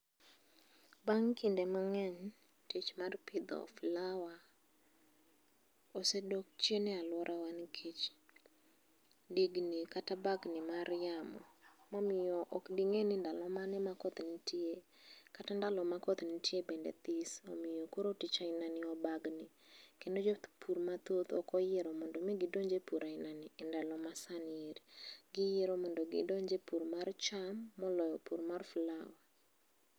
Bang' kinde mang'eny tich mar pidho flower osedok chien nikech digni kata bagni mar yamo momiyo ok ding'e ni ndalo mane ma koth nitie kata ndalo ma koth nitie bende this omiyo koro tich ainani obagni kendo jopur mathoth ok oyiero mondo mi gidonj e pur ainani e ndalo masani eri, giyiero mondo gidonj e pur mar cham moloyo pur mar flower